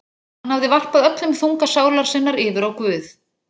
Og hann hafði varpað öllum þunga sálar sinnar yfir á Guð.